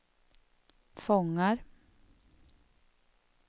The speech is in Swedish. fångar